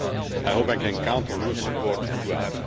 I hope I can count on your support throughout.